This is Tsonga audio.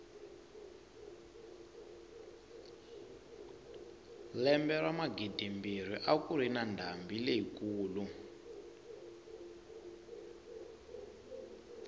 lembe ra magidimbirhi a kuri na ndhambi leyi kulu